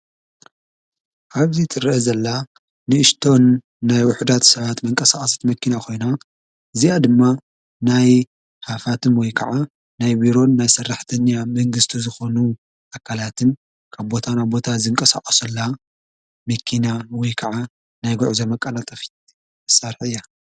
ኣብዚ ትርሀ ዘላ ንእስቶን ናይ ውሑዳት ሰዓት መንቀሠዓሰት መኪና ኾይና እዚኣ ድማ ናይ ሓፋትም ወይ ከዓ ናይ ዊሮን ናይ ሠራሕተኛ መንግሥቱ ዝኾኑ ኣካላትን ካብቦታ ናብ ቦታ ዝንቀሠዓሶላ ምኪና ወይ ከዓ ናይ ጐዑ ዘመቃላጠፊት ሣርሕያ።